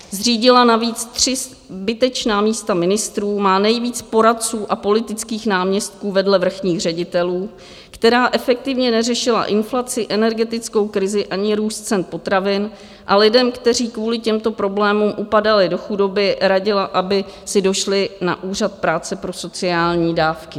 Zřídila navíc tři zbytečná místa ministrů, má nejvíc poradců a politických náměstků vedle vrchních ředitelů, která efektivně neřešila inflaci, energetickou krizi ani růst cen potravin, a lidem, kteří kvůli těmto problémům upadali do chudoby, radila, aby si došli na Úřad práce pro sociální dávky.